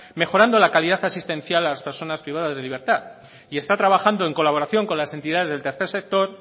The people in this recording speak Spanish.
mejorando la calidad asistencial a las personas privadas de libertad y está trabajando en colaboración con las entidades del tercer sector